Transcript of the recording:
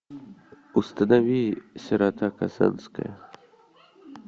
установи сирота казанская